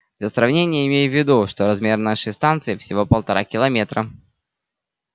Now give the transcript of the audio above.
для сравнения имей в виду что размер нашей станции всего полтора километра